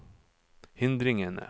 hindringene